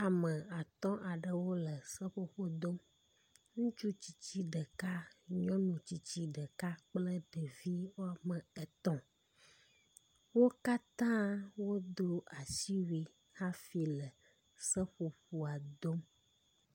Ame atɔ̃ aɖewo le seƒoƒo dom. Ŋutsu tsitsi ɖeka kple nyɔnu tsitsi ɖeka kple ɖevi wome etɔ̃. Wo katã wodo asiwui hafi le seƒoƒoa dom.